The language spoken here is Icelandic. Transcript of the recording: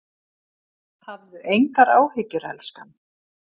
Hafðu engar áhyggjur elskan.